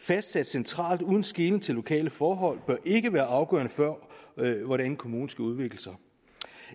fastsættes centralt uden skelen til lokale forhold bør ikke være afgørende for hvordan kommunen skal udvikle sig